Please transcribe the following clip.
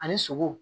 Ani sogow